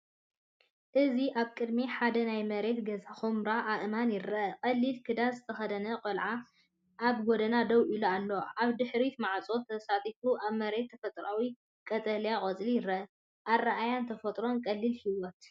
እዚ ኣብ ቅድሚ ሓደ ናይ መሬት ገዛ ኵምራ ኣእማን ይርአ። ቀሊል ክዳን ዝተኸድነ ቀልዓ ኣብ ጎድና ደው ኢሉ ኣሎ። ኣብ ድሕሪት ማዕጾ ተሰፊዩ ኣብ መሬት ተፈጥሮኣዊ ቀጠልያ ቆጽሊ ይርአ። ኣረኣእያ ተፈጥሮን ቀሊል ህይወትን።